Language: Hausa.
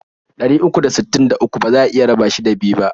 Ɗari uku da sittin da uku baza a iya raba shi da biyu bah.